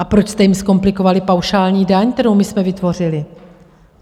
A proč jste jim zkomplikovali paušální daň, kterou my jsme vytvořili?